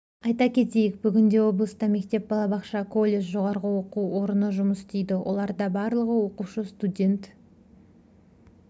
айта кетейік бүгінде облыста мектеп балабақша колледж жоғары оқу орны жұмыс істейді оларда барлығы оқушы студент